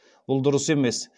бұл дұрыс емес